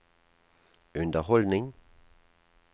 underholdning